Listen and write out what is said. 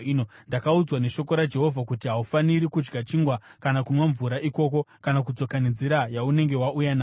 Ndakaudzwa neshoko raJehovha kuti, ‘Haufaniri kudya chingwa kana kunwa mvura ikoko kana kudzoka nenzira yaunenge wauya nayo.’ ”